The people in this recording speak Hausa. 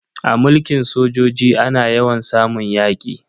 A mulkin sojoji ana yawan samun yaki.